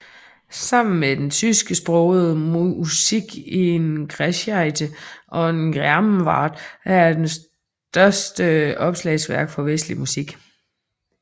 Sammen med den tysksprogede Musik in Geschichte und Gegenwart er den det største opslagsværk for vestlig musik